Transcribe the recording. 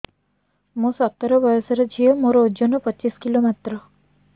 ମୁଁ ସତର ବୟସର ଝିଅ ମୋର ଓଜନ ପଚିଶି କିଲୋ ମାତ୍ର